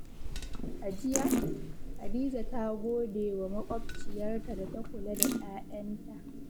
A jiya, Hadiza ta gode wa makwabciyarta da ta kula da 'ya'yanta.